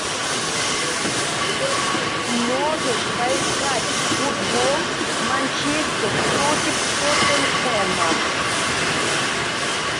можешь поискать футбол манчестер против тоттенхэма